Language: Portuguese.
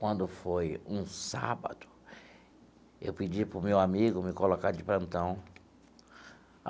Quando foi um sábado, eu pedi para o meu amigo me colocar de plantão.